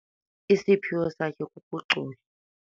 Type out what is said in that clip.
Isiphiwo sakhe kukucula.